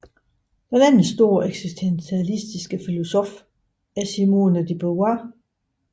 Den anden store eksistentialistiske filosof er Simone de Beauvoir